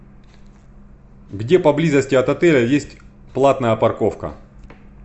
где поблизости от отеля есть платная парковка